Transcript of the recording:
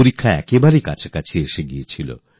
পরীক্ষা একদম কাছে এসে গিয়েছিল